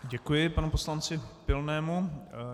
Děkuji panu poslanci Pilnému.